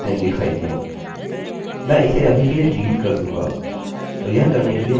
मैं इसे अभी के लिए डिलीट कर दूँगा और यह करने के लिए मैं जाचूँगा यदि submit बटन दबाया गया है